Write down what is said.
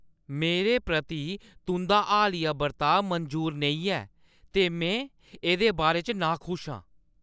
मेरे प्रति तुंʼदा हालिया बर्ताव मंजूर नेईं ऐ ते में एह्दे बारे च नाखुश आं।